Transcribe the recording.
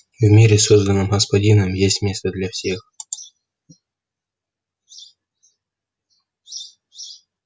в мире созданном господином есть место для всех